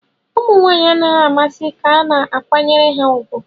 Ụmụ nwanyị anaghị amasị ka a na-akwanyere ha ùgwù.